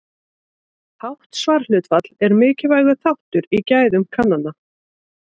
Hátt svarhlutfall er mikilvægur þáttur í gæðum kannana.